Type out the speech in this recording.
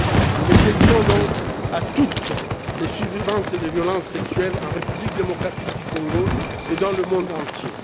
Nous le dédions donc à toutes les survivantes de violences sexuelles en République démocratique du Congo et dans le monde entier.